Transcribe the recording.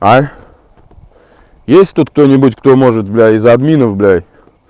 а есть тут кто-нибудь кто может бля из админов бля